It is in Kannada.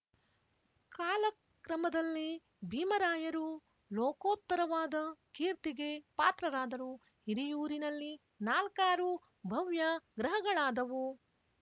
ಕಾಲಕ್ರಮದಲ್ಲಿ ಭೀಮರಾಯರು ಲೋಕೋತ್ತರವಾದ ಕೀರ್ತಿಗೆ ಪಾತ್ರರಾದರು ಹಿರಿಯೂರಿನಲ್ಲಿ ನಾಲ್ಕಾರು ಭವ್ಯ ಗ್ರಹಗಳಾದುವು